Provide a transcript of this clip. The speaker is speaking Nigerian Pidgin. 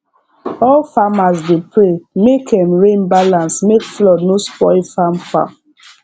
all farmers dey pray make um rain balance make flood no spoil farm farm